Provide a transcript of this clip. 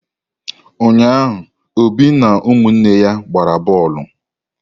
Ụnyaahụ Obi na ụmụnne ya gbara boolu.